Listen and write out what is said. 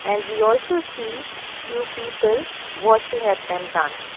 and we also see few people watching at them dance.